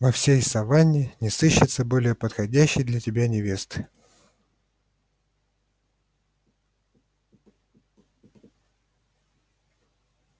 во всей саванне не сыщется более неподходящей для тебя невесты